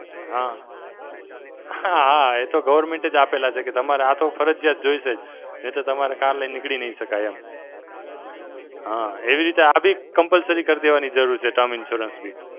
હાં, હાં હાં, એ તો government એજ આપેલા છે. કે તમારે આ તો ફરજિયાત જોઈશે જ. નહીં તો તમારે car લઈ નીકળી નહીં શકાય એમ. હાં એવી રીતે આ બી Compulsory કર દેવાની જરૂરી છે Term Insurance બી.